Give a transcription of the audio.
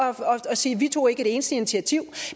sige vi tog ikke et eneste initiativ